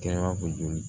Kɛyɔrɔ ko joli